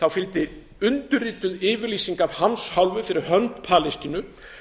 fylgdi undirrituð yfirlýsing af hans hálfu fyrir hönd palestínu